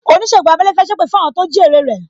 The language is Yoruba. Onisegun abẹ́lẹ́ fẹ́ sépè fún àwọn tó jí ère rẹ